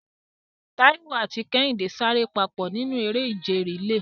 Taiwo àti Kehinde sáré papọ̀ nínú eré ìje relay.